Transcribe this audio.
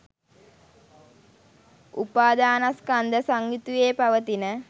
උපාධානස්කන්ධ සංයුතියේ පවතින